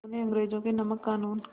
उन्होंने अंग्रेज़ों के नमक क़ानून